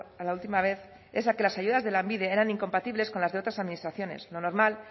a la última vez es a que las ayudas de lanbide eran incompatibles con las de otras administraciones lo normal